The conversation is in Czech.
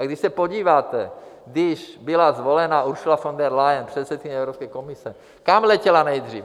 A když se podíváte, když byla zvolena Ursula von der Leyen, předsedkyně Evropské komise, kam letěla nejdřív?